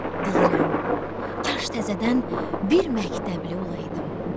Deyirəm, kaş təzədən bir məktəbli olaydım.